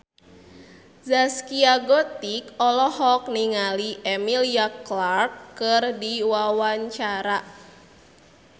Zaskia Gotik olohok ningali Emilia Clarke keur diwawancara